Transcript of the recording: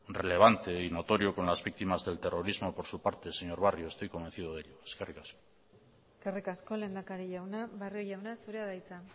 relevante y notorio con las víctimas del terrorismo por su parte señor barrio estoy convencido de ello eskerrik asko eskerrik asko lehendakari jauna barrio jauna zurea da hitza